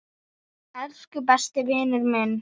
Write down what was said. Elsku besti vinur minn.